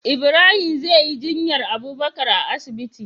Ibrahim zeyi jinyar abubakar a asibiti